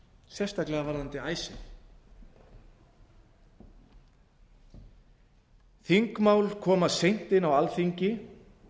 sérstaklega varðandi icesave þingmál koma seint inn á alþingi þau